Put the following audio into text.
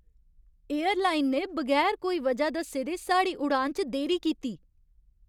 Airline ने बगैर कोई वजह दस्से दे साढ़ी उड़ान च देरी कीती।